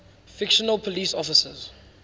fictional police officers